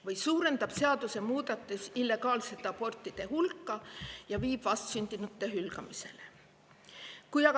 Võib-olla suurendab see illegaalsete abortide hulka ja viib vastsündinute hülgamiseni?